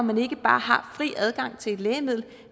man ikke bare har fri adgang til et lægemiddel